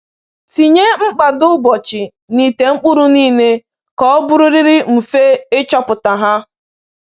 Tinye mkpado ụbọchị n’ite mkpụrụ niile ka o bụrụrịrị mfe ịchọpụta ha